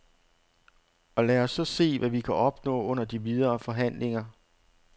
Og lad os så se, hvad vi kan opnå under de videre forhandlinger.